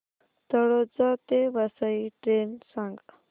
तळोजा ते वसई ट्रेन सांग